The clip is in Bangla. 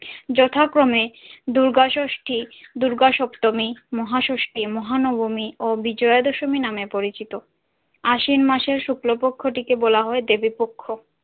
যথাক্রমে দূর্গা ষষ্ঠী দূর্গা সপ্তমি মহা ষষ্ঠী মহা নবমী ও বিজয়া দশমী নামে পরিচিত আশ্বিন মাসের শুক্লপক্ষ থেকে বলা হয় দেবী পক্ষ।